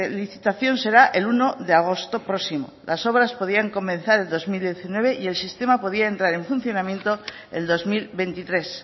licitación será el uno de agosto próximo las obras podrían comenzar el dos mil diecinueve y el sistema podía entrar en funcionamiento el dos mil veintitrés